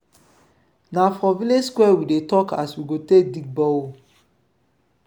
na for village square we dey tok as we go take dig bore hole.